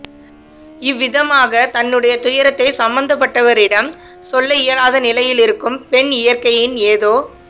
இவ்விதமாக தன்னுடைய துயரத்தை சம்பந்தப்பட்டவரிடம் சொல்ல இயலாத நிலையிலிருக்கும் பெண் இயற்கையின் ஏதோ